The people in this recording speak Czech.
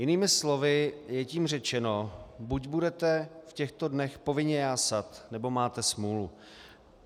Jinými slovy je tím řečeno: buď budete v těchto dnech povinně jásat, nebo máte smůlu.